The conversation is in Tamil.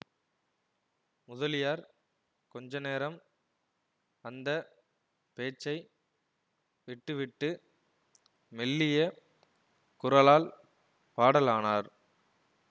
முதலியார் கொஞ்சநேரம் அந்த பேச்சை விட்டுவிட்டு மெல்லிய குரலால் பாடலானார்